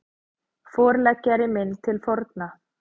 Forleggjari minn til forna